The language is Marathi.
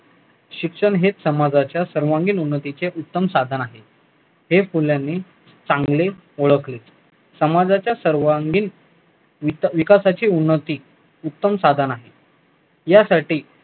शिक्षण हेच समाजाचे सर्वांगिक उन्नतीचे उत्तम साधन आहे हे फुल्यानी चांगले ओळखले समाजाच्या सर्वांगिन विकासाची उन्नती उत्तम साधन आहे यासाठी